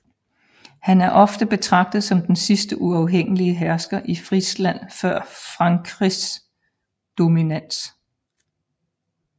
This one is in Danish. Han er ofte betragtet som den sidste uafhængige hersker i Frisland før frankisk dominans